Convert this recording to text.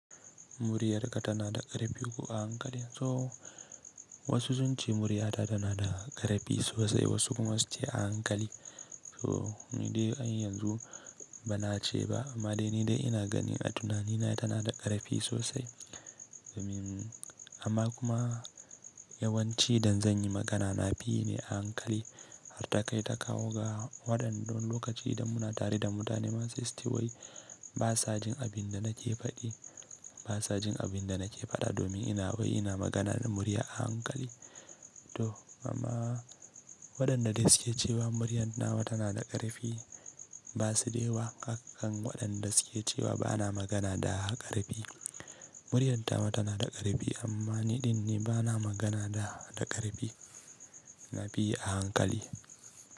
Muryarka tana da ƙarfi ko a hankali. So wasu sun ce murya ta tana da ƙarfi sosai, wasu kuma su ce a hankali. So ni dai an har yanzu ba na ce ba amma dai ni dai ina gani a tunanina tana da ƙarfi sosai. Amma kuma yawanci idan zan yi magana na fi yi ne a hankali har ta kai ta kawo ga waɗanda wani lokaci idan muna tare da mutane ma sai su ce wai ba sa jin abin da nake faɗi, ba sa jin abin da nake faɗa domin ina wai ina magana da murya a hankali. To amma waɗanda de su ke cewa muryan nawa tana da ƙarfi, ba su da yawa akan waɗanda su ke cewa ba na magana da ƙarfi. Muryar tawa tana da ƙarfi amma niɗin ne ba na magana da ƙarfi, na fi yi a hankali.